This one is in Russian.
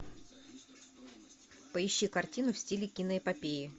поищи картину в стиле киноэпопеи